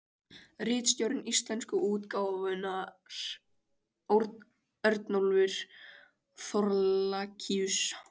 Ritstjóri íslensku útgáfunnar: Örnólfur Thorlacius.